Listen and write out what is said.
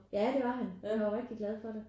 Ja det var han han var rigtig glad for det